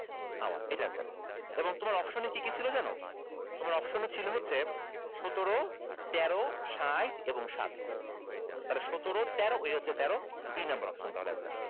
hour এটা answer এবং তোমার option এ কি কি ছিল জানো তোমার option এ ছিল হচ্ছে সতেরো তেরো ষাইট এবং সাত তাহলে সতেরো তেরো এই হচ্ছে তেরো দুই number option তাহলে answer